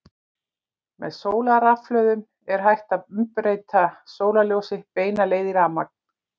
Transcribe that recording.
Með sólarrafhlöðum er hægt að umbreyta sólarljósi beina leið í rafmagn.